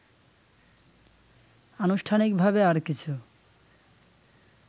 আনুষ্ঠানিকভাবে আর কিছু